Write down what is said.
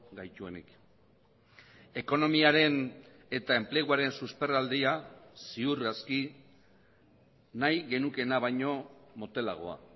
gaituenik ekonomiaren eta enpleguaren susperraldia ziur aski nahi genukeena baino motelagoa